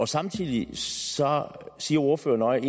samtidig siger ordføreren